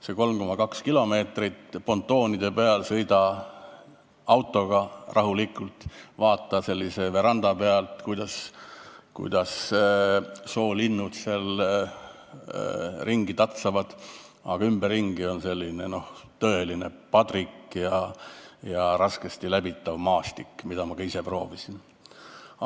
Saad 3,2 kilomeetrit pontoonide peal rahulikult autoga sõita, vaadata nagu veranda pealt, kuidas soolinnud seal ringi tatsavad, aga ümberringi on tõeline padrik ja raskesti läbitav maastik, ma ise proovisin järele.